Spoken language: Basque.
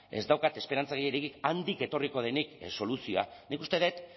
ez daukat esperantza gehiegirik handik etorriko denik soluzioa nik uste dut